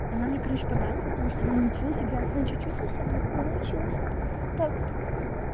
она мне короче понравилась потому что я научилась играть ну чуть-чуть но научилась вот так вот